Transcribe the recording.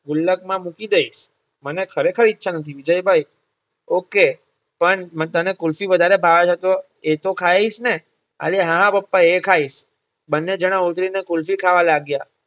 ગુલ્લક માં મૂકી દઇશ મને ખરેખર ઈચ્છા નથી વિજયભાઇ okay પણ તને કુલફી વધારે ભાવે છે તો એ તો ખાઈશ ને. અરે હા પપ્પા એ ખાઈશ. બંને જણા ઊભા રહી ને કુલફી ખાવા લાગ્યા.